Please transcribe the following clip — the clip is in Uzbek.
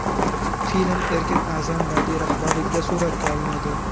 Film Erkin A’zam badiiy rahbarligida suratga olinadi.